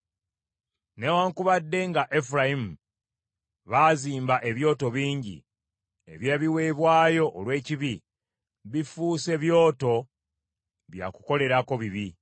“Newaakubadde nga Efulayimu baazimba ebyoto bingi eby’ebiweebwayo olw’ekibi, bifuuse byoto bya kukolerako bibi.